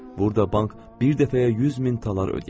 Burda bank bir dəfəyə 100 min talar ödəyə bilir.